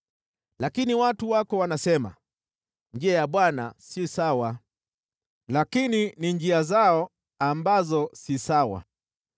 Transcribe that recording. “Lakini watu wako wanasema, ‘Njia ya Bwana si sawa.’ Lakini ni njia zao ambazo si sawa.